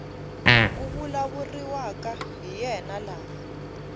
ku vulavuriwaka hi yena laha